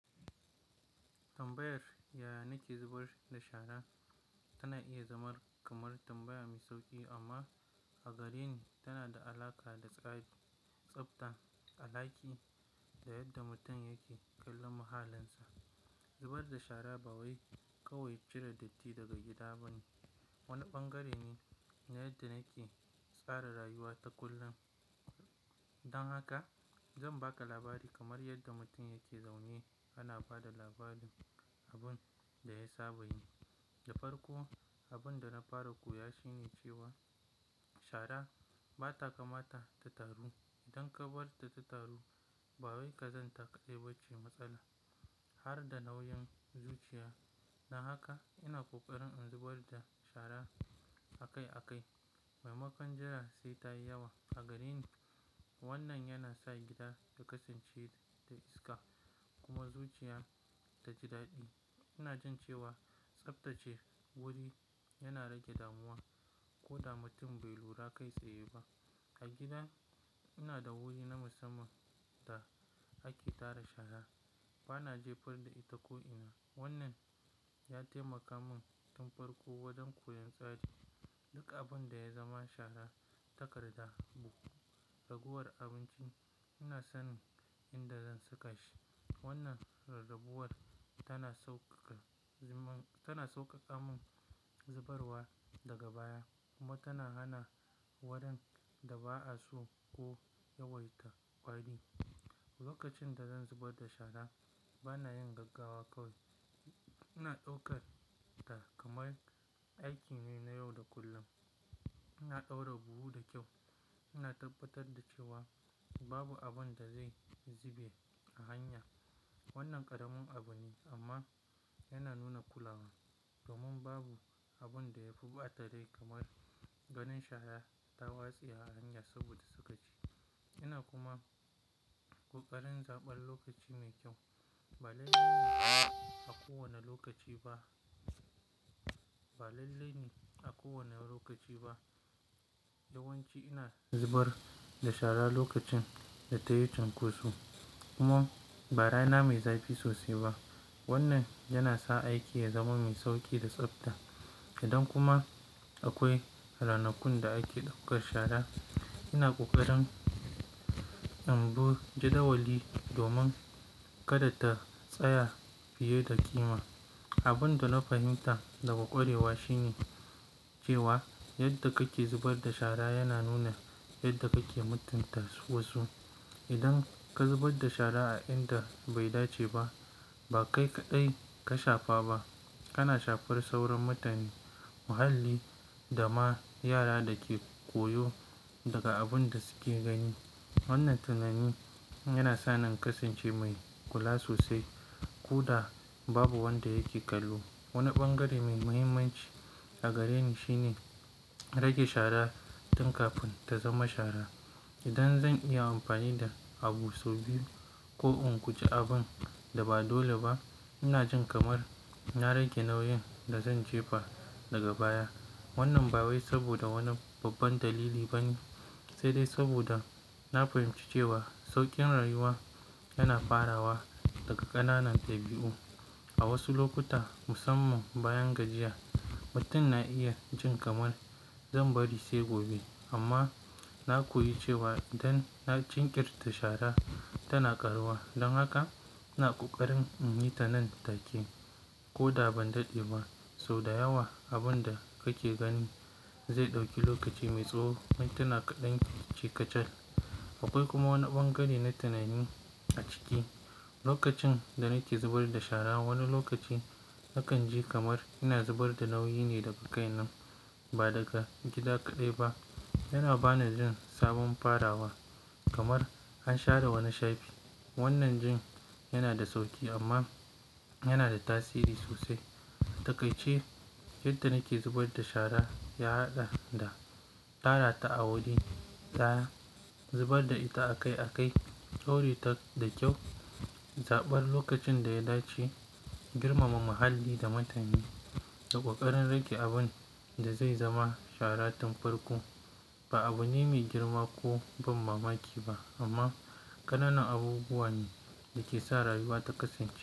Tambayar ya nake zubar da shara tana iya zama kamar tambaya mai sauƙi amma a gareni tana da alaƙa da tsabta a ɗaki da yadda mutum yake kallon muhallinsa. Zubar da shara ba wai kawai cire datti daga gida ba ne, wani ɓangare ne na yadda nake tsara rayuwata kullum. Dan haka zan baka labari kamar yadda mutum yake zaune ana ba da labarin abun da ya saba yi. Da farko, abin da na fara koya shi ne cewa shara ba ta kamata ta taru. Idan ka bar ta ta taru ba wai ka zanta kaɗai ba ce matsala har da nauyin zuciya. Dan haka ina ƙoƙarin in zubar da shara akai akai. Maimakon jira sai ta yi yawa. A gareni wannan yana sa gida ya kasance da iska kuma zuciya ta ji daɗi. Ina jin cewa tsabtace wuri yana rage damuwa koda mutum bai lura kai tsaye ba. A gida ina da wuri na musamman da ake tara shara. Ba na jefar da ita ko ina. Wannan ya taimaka mun tun farko wajen koyon tsari. Duk abun da ya zama shara, takarda, buhu, ragowar abinci ina sanin inda zan saka shi. Wannan rarraguwar tana sauƙaƙa mun zubarwa daga baya kuma tana hana warin da ba'a so ko yawaita wari. Lokacin da zan zubar da shara ba na yin gaggawa kawai, ina ɗaukar ta kamar aiki ne na yau da kullum. Ina ɗaura buhu da kyau, ina tabbatar da cewa babu abun da zai zube a hanya. Wannan ƙaramin abu ne amma yana nuna kulawa domin babu abun da ya fi ɓata rai kamar ganin shara ta watsa a hanya saboda sukaci. Ina kuma ƙoƙarin zaɓar lokaci mai kyau. Ba lalle ne a kowane lokaci ba. Ba lalle ne a kowane lokaci ba. Yawanci ina zubar da shara lokacin da ta yi cunkoso kuma ba rana mai zafi sosai ba. Wannan yana sa aiki ya zama mai sauƙi da tsabta. Idan kuma akwai ranakun da ake ɗaukar shara, ina ƙoƙarin in bi jadawali domin kada ta tsaya fiye da ƙima. Abun da na fahimta daga ƙwarewa shi ne cewa yadda kake zubar da shara yana nuna yadda kake mutunta wasu. Idan ka zubar da shara a inda bai dace ba, ba kai kaɗai ka shafa ba, kana shafar sauran mutane, muhalli da ma yara da ke koyo daga abun da suke gani. Wannan tunani yana sa ni in kasance mai kula sosai koda babu wanda yake kallo. Wani ɓangare mai mahimmanci a gareni shine rage shara tun kafin ta zama shara. Idan zan iya amfani da abun sau biyu ko in guje abun da ba dole ba, ina jin kamar na rage nauyin da zan jefa daga baya. Wannan ba wai saboda wani babban dalili ba ne, sai dai saboda na fahimci cewa sauƙin rayuwa yana farawa daga ƙananan dabi'u. A wasu lokuta, musamman bayan gajiya, mutum na iya jin kamar "zan bari sai gobe", amma na koyi cewa idan na jinkirta shara tana karuwa. Dan haka ina ƙoƙarin in yi ta nan take koda ban daɗe ba. So da yawa abun da kake gani zai ɗauki lokaci mai tsawo mintina kaɗan yake ci kacal. Akwai kuma wani bangare na tunani a ciki. Lokacin da nake zubar da shara, wani lokaci nakan ji kamar ina zubar da nauyi ne daga kaina ba daga gida kaɗai ba. Yana ba ni jin sabon farawa kamar an share wani shafi. Wannan jin yana da sauƙi amma yana da tasiri sosai. A taƙaice yadda nake zubar da shara ya haɗa da tara ta a wuri daya, zubar da ita akai akai, ɗaure ta da kyau, zaɓar lokacin da ya dace, girmama muhalli da mutane da ƙoƙarin rage abun da zai zama shara tun farko. Ba abune mai girma ko ban mamaki ba amma ƙananan abubuwa ne da ke sa rayuwa ta kasance.